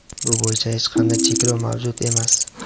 bu bo‘yicha hech qanday cheklov mavjud emas.